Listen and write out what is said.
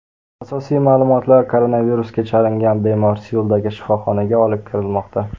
Asosiy ma’lumotlar Koronavirusga chalingan bemor Seuldagi shifoxonaga olib kirilmoqda.